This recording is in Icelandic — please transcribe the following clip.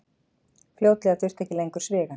Fljótlega þurfti ekki lengur svigann.